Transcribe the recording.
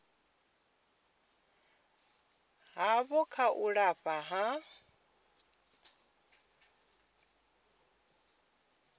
havho kha u lafha ha